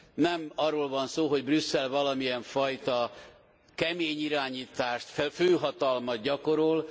Nem arról van szó, hogy Brüsszel valamilyen fajta kemény irányítást, főhatalmat gyakorol.